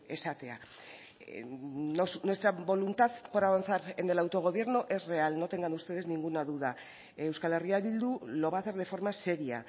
esatea nuestra voluntad por avanzar en el autogobierno es real no tengan ustedes ninguna duda euskal herria bildu lo va a hacer de forma seria